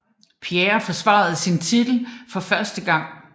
Pierre forsvare sin titel for første gann